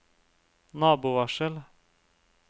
nabovarsel